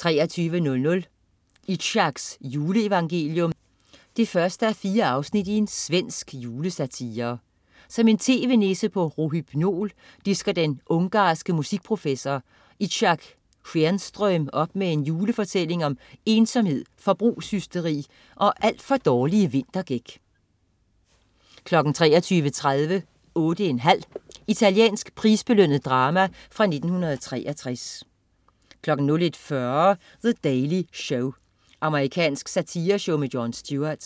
23.00 Itzhaks juleevangelium 1:4. Svensk julesatire. Som en tv-nisse på rohypnol disker den ungarske musikprofessor Itzhak Skenström op med en julefortælling om ensomhed, forbrugshysteri og alt for dårlige vinterdæk 23.30 8 1/2. Italiensk prisbelønnet drama fra 1963 01.40 The Daily Show. Amerikansk satireshow med Jon Stewart